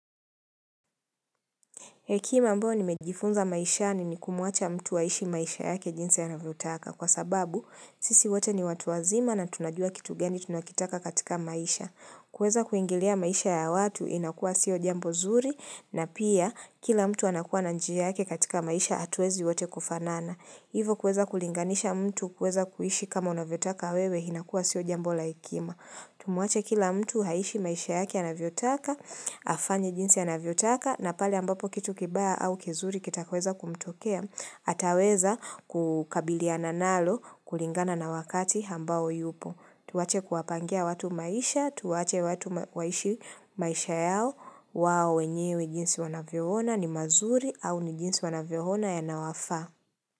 Hekima ambao nimejifunza maishani ni kumwacha mtu aishi maisha yake jinsi anavyotaka. Kwa sababu, sisi wote ni watu wazima na tunajua kitu gani tunakitaka katika maisha. Kuweza kuingilia maisha ya watu inakua sio jambo zuri na pia kila mtu anakuwa na njia yake katika maisha hatuwezi wote kufanana. Hivo kuweza kulinganisha mtu kuweza kuishi kama unavyotaka wewe inakua sio jambo la hekima. Tumwache kila mtu aishi maisha yake anavyotaka, afanye jinsi anavyotaka na pale ambapo kitu kibaya au kizuri kitakoweza kumtokea ataweza kukabiliana nalo kulingana na wakati ambao yupo. Tuwache kuwapangia watu maisha, tuwache watu waishi maisha yao wao wenyewe jinsi wanavyoona ni mazuri au ni jinsi wanavyoona yanawafaa.